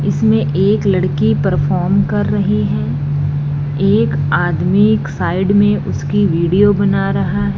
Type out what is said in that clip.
इसमें एक लड़की परफॉर्म कर रही है एक आदमी एक साइड में उसकी वीडियो बना रहा है।